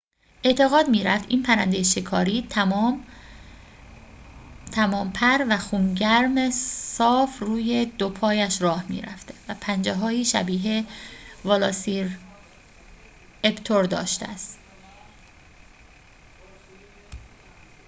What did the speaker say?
اعتقاد می‌رفت این پرنده شکاری تمام‌پر و خون‌گرم صاف روی دوپایش راه می‌رفته و پنجه‌هایی شبیه ولاسیراپتور داشته است